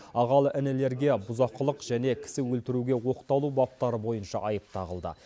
ағалы інілілерге бұзақылық және кісі өлтіруге оқталу баптары бойынша айып тағылды